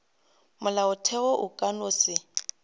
molaotheo o ka no se